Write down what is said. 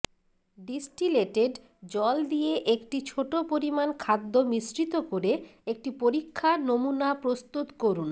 distillated জল দিয়ে একটি ছোট পরিমাণ খাদ্য মিশ্রিত করে একটি পরীক্ষা নমুনা প্রস্তুত করুন